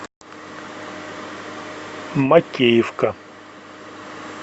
макеевка